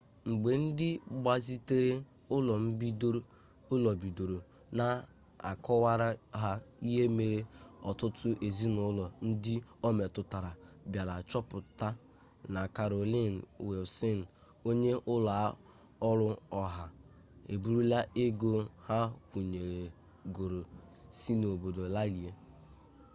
mgbe ndị gbazitere ụlọ bidoro na-akọwara ha ihe mere ọtụtụ ezinụlọ ndị o metụtara bịara chọpụta na karolin wịlsịn onye ụlọ ọrụ oha eburula ego ha kwụnyegoro si n'obodo larie